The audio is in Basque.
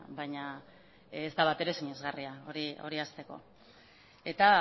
baina ez da batere sinesgarria hori hasteko eta